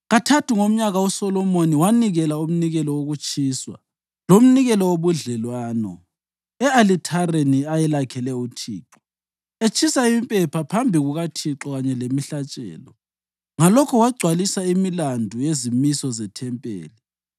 Kathathu ngomnyaka uSolomoni wanikela umnikelo wokutshiswa lomnikelo wobudlelwano e-alithareni ayelakhele uThixo, etshisa impepha phambi kukaThixo kanye lemihlatshelo. Ngalokho wagcwalisa imilandu yezimiso zethempeli.